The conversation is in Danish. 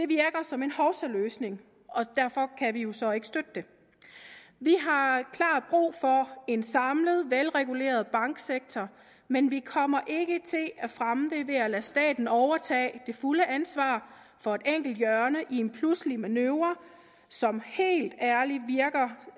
virker som en hovsaløsning og derfor kan vi jo så ikke støtte det vi har klart brug for en samlet velreguleret banksektor men vi kommer ikke til at fremme det ved at lade staten overtage det fulde ansvar for et enkelt hjørne i en pludselig manøvre som helt ærligt virker